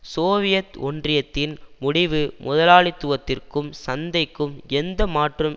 Soviet ஒன்றியத்தின் முடிவு முதலாளித்துவத்திற்கும் சந்தைக்கும் எந்த மாற்றும்